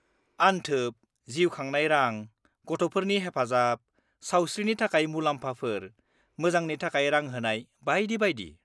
-अनथोब, जिउ खांनाय रां, गथ'फोरनि हेफाजाब, सावस्रिनि थाखाय मुलाम्फाफोर, मोजांनि थाखाय रां होनाय बायदि बायदि।